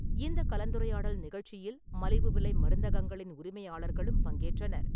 இந்த கலந்துரையாடல் நிகழ்ச்சியில் மலிவு விலை மருந்தகங்களின் உரிமையாளர்களும் பங்கேற்றனர்.